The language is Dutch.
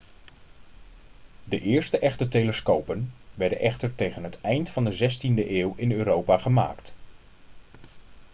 de eerste echte telescopen werden echter tegen het eind van de 16e eeuw in europa gemaakt